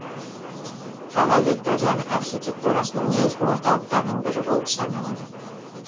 қала викториан архитектурасының негізгі орталықтарының бірі болып саналады